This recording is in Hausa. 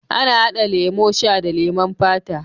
Ana hada lemo sha da leman fata.